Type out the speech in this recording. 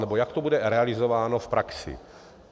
Nebo jak to bude realizováno v praxi?